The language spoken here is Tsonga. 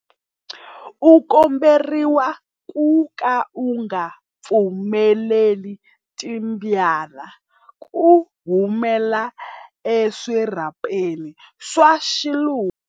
U komberiwa ku ka u nga pfumeleli timbyana ku humela eswirhapeni swa swiluva.